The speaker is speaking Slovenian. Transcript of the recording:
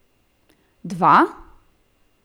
Dva?